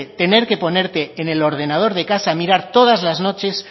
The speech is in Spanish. tener que ponerte en el ordenador de casa a mirar todas las noches